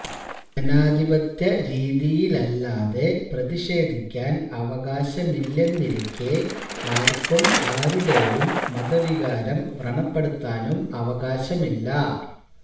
ജനാധിപത്യ രീതിയിലല്ലാതെ പ്രതിഷേധിക്കാന് അവകാശമില്ലെന്നിരിക്കെ ആര്ക്കും ആരുടെയും മതവികാരം വ്രണപ്പെടുത്താനും അവകാശമില്ല